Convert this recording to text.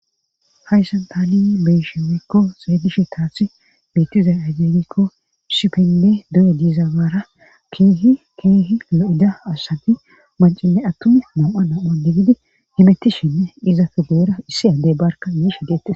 hayssan taanin beyshewekko seeydishi taathi bitizay ageenikko shipende duye diizawaara keehikeehi lo7ida asati mancine attumi nam7a na7one gidi himettishenne izafe deera issi addey barka yiishe deette